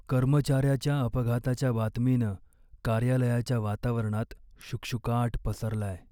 कर्मचाऱ्याच्या अपघाताच्या बातमीनं कार्यालयाच्या वातावरणात शुकशुकाट पसरलाय.